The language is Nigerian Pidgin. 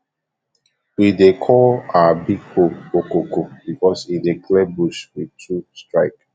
we dey call our big hoe okoko because e dey clear bush with two strke